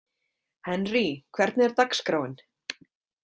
Henrý, hvernig er dagskráin?